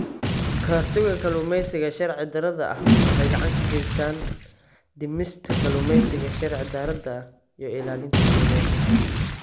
Ka-hortagga Kalluumeysiga Sharci-darrada ah waxay gacan ka geysataa dhimista kalluumeysiga sharci-darrada ah iyo ilaalinta deegaanka.